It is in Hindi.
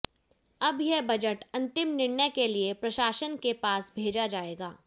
अब यह बजट अंतिम निर्णय के लिए प्रशासन के पास भेजा जाएगा